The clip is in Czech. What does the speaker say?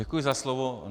Děkuji za slovo.